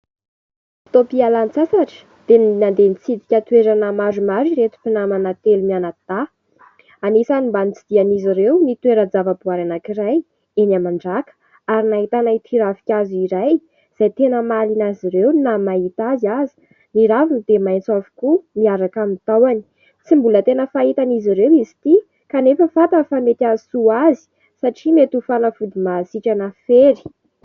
Fotoam-pialan-tsasatra dia nandeha nitsidika toerana maromaro ireto mpinamana telo mianadahy. Anisan'ny mba notsidihin'izy ireo ny toeran-java-boahary anankiray eny Mandraka ary nahitana ity ravin-kazo iray izay tena mahaliana azy ireo na ny mahita azy aza. Ny raviny dia maitso avokoa miaraka amin'ny tahony. Tsy mbola tena fahitan'izy ireo izy ity kanefa fantany fa mety ahasoa azy satria mety ho fanafody mahasitrana fery.